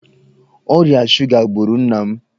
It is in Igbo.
Ọrịa shuga gburu nna m.